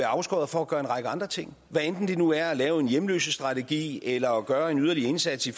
afskåret fra at gøre en række andre ting hvad enten det nu er at lave en hjemløsestrategi eller at gøre en yderligere indsats i